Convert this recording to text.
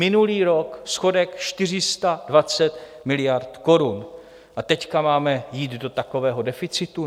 Minulý rok schodek 420 miliard korun, a teď máme jít do takového deficitu?